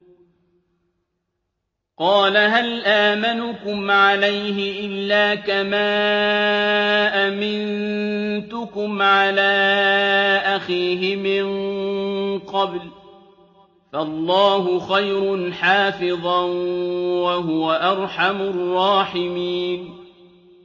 قَالَ هَلْ آمَنُكُمْ عَلَيْهِ إِلَّا كَمَا أَمِنتُكُمْ عَلَىٰ أَخِيهِ مِن قَبْلُ ۖ فَاللَّهُ خَيْرٌ حَافِظًا ۖ وَهُوَ أَرْحَمُ الرَّاحِمِينَ